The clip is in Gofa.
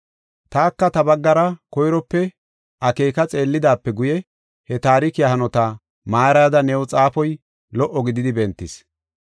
Taka ta baggara koyrope akeeka xeellidaape guye, he taarikiya hanota maarayada new xaafoy lo77o gididi bentis.